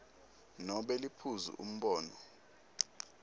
nobe liphuzu umbono